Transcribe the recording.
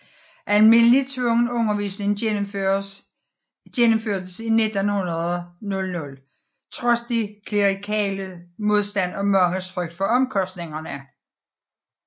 Almindelig tvungen undervisning gennemførtes 1900 trods de klerikales modstand og manges frygt for omkostningerne